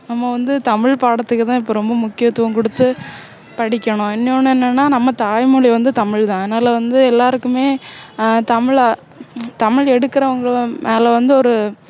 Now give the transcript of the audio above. நம்ம வந்து தமிழ் பாடத்துக்குதான் இப்போ ரொம்ப முக்கியத்துவம் கொடுத்து படிக்கணும் இன்னொண்ணு என்னன்னா நம்ம தாய்மொழி வந்து தமிழ்தான் அதனால வந்து எல்லாருக்குமே ஆஹ் தமிழ~தமிழ் எடுக்குறவங்க மேல வந்து ஒரு